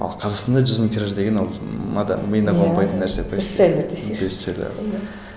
ал қазақстанда жүз мың тираж деген ол адам миына қонбайтын нәрсе бестселлер десейші бестселлер